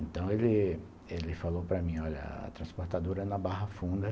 Então ele ele falou para mim, olha, a transportadora é na Barra Funda.